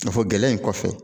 Nafolo gɛlɛn in kɔfɛ